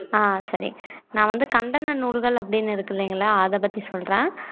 அஹ் சரி நான் வந்து கண்டன நூல்கள் அப்படின்னு இருக்கு இல்லைங்களா அத பத்தி சொல்றேன்